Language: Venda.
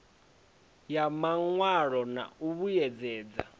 ya mawalo na u vhuedzedza